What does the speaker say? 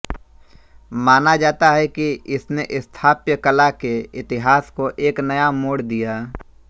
माना जाता है कि इसने स्थापत्यकला के इतिहास को एक नया मोड़ दिया